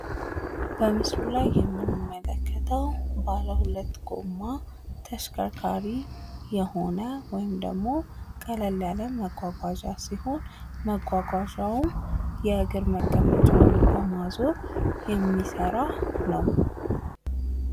በምስሉ ላይ የምንመለከተዉ ባለ ሁለት ጎማ ተሽከርካሪ የሆነ ወይም ደግሞ ቀለል ያለ መጓጓዣ ሲሆን መጓጓዣዉም የእግር መቀመጫዉን በማዞር የሚሰራ ነዉ።